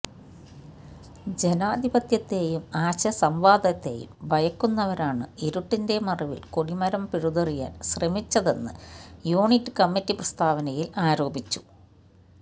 ജനാധിപത്യത്തെയും ആശയ സംവാദത്തെയും ഭയക്കുന്നവരാണ് ഇരുട്ടിന്റെ മറവിൽ കൊടിമരം പിഴുതെറിയാൻ ശ്രമിച്ചതെന്ന് യൂണിറ്റ് കമ്മിറ്റി പ്രസ്താവനയിൽ ആരോപിച്ചു